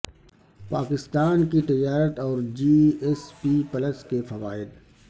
پاکستان کی تجارت اور جی ایس پی پلس کے فوائد